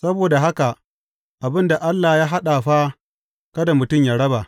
Saboda haka abin da Allah ya haɗa fa, kada mutum yă raba.